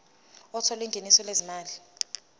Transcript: othola ingeniso lezimali